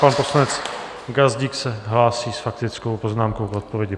Pan poslanec Gazdík se hlásí s faktickou poznámkou v odpovědi.